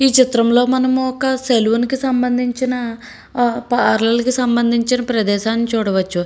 ఏే చిత్రం లో మనం సలూన్ కి సంబందించిన పర్లౌర్ కి సంబందించిన ప్రదేశాన్ని చూడవచ్చు.